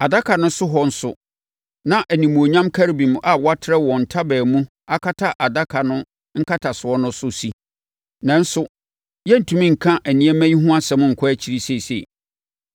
Adaka no so hɔ nso na animuonyam Kerubim a wɔatrɛ wɔn ntaban mu akata Adaka no nkatasoɔ no so si. Nanso, yɛrentumi nka nneɛma yi ho asɛm nkɔ akyiri seesei.